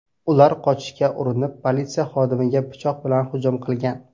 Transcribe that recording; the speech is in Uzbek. Ular qochishga urinib, politsiya xodimiga pichoq bilan hujum qilgan.